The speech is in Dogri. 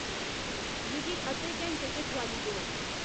मिगी अद्धे घैंटे च ठोआली देओ